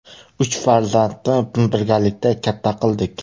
Uch farzandni birgalikda katta qildik.